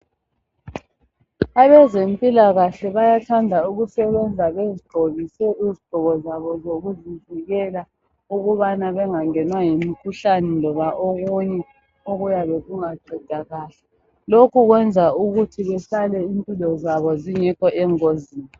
Abezempilakahle bayathanda ukusebenza bezigqokise izigqoko zabo zokuziviikela ukubana bengangenwa yimikhuhlane loba okunye okuyabe kungaqedakali, lokhu kwenza ukuthi behlale impilo zabo zingekho engozini.